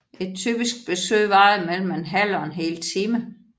Et typisk besøg varede mellem en halv og en hel time